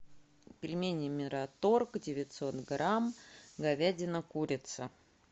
пельмени мираторг девятьсот грамм говядина курица